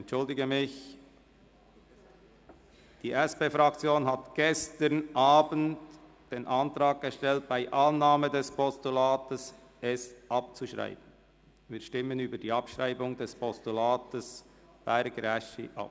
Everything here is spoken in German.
Die SP-JUSO-PSA-Fraktion hat gestern Abend den Antrag gestellt, das Postulat Berger bei Annahme abzuschreiben.